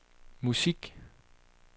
musik